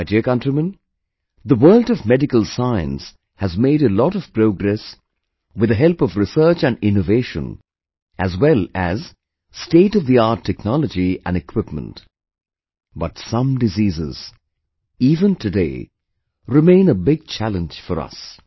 My dear countrymen, the world of medical science has made a lot of progress with the help of research and innovation as well as stateoftheart technology and equipment, but some diseases, even today, remain a big challenge for us